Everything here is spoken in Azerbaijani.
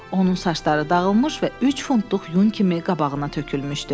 Onun saçları dağılmış və üç funtluq yun kimi qabağına tökülmüşdü.